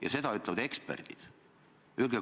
Ja seda ütlevad eksperdid.